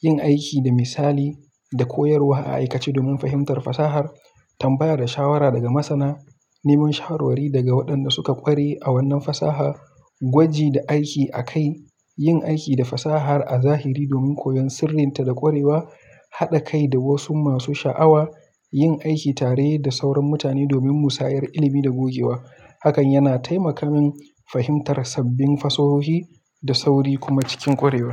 yin aiki da misali da koyarwa a aikace domin fahimtar fasahar, tambaya da shawara daga masana, neman shawarwari daga waɗanda suka ƙware a wannan fasaha, gwaji da aiki a kai, yin aiki da fasahar a zahiri domin koyon sirrinta da ƙwarewa, haɗa kai da wasu masu sha'awa, yin aiki tare da sauran mutane domin musayar ilimi da gogewa. Hakan yana taimaka min fahimtar sabbin fasahohi da sauri kuma cikin ƙwarewa.